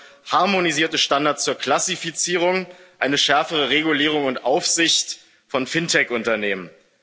Das bedeutet harmonisierte Standards zur Klassifizierung, eine schärfere Regulierung und Aufsicht von FinTech Unternehmen.